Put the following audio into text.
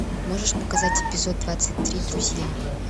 можешь показать эпизод двадцать три друзья